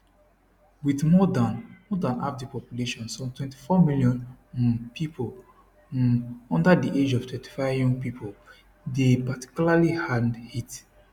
wit more dan more dan half di population some 24 million um pipo um under di age of 35 young pipo dey particularly hardhit